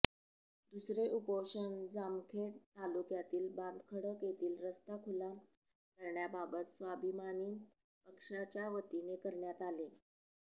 दुसरे उपोषण जामखेड तालुक्यातील बांधखडक येथील रस्ता खुला करण्याबाबत स्वाभिमानी पक्षाच्यावतीने करण्यात आले